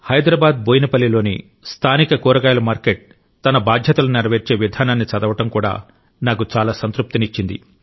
హైదరాబాద్ బోయిన్పల్లిలోని స్థానిక కూరగాయల మార్కెట్ తన బాధ్యతలను నెరవేర్చే విధానాన్ని చదవడం కూడా నాకు చాలా సంతృప్తి ఇచ్చింది